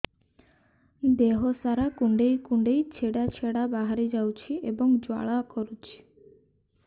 ଦେହ ସାରା କୁଣ୍ଡେଇ କୁଣ୍ଡେଇ ଛେଡ଼ା ଛେଡ଼ା ବାହାରି ଯାଉଛି ଏବଂ ଜ୍ୱାଳା କରୁଛି